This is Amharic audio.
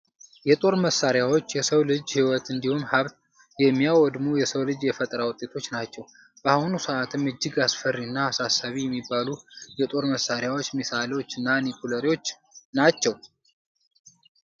የጦር መሳሪያዎች የሰውን ልጅ ህይወት እንዲሁም ሀብት የሚያወድሙ የሰው ልጅ የፈጠራ ውጤቶች ናቸው። በአሁኑ ሰአትም እጅግ አስፈሪ እና አሳሳቢ የሚባሉ የጦር መሳሪያዎች ሚሳኤሎች እና ኒውክለሮች ናቸው።